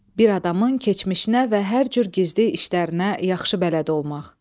Bir adamın keçmişinə və hər cür gizdi işlərinə yaxşı bələd olmaq.